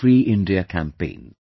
freeIndia campaign